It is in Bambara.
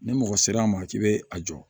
Ni mɔgɔ sera ma k'i bɛ a jɔ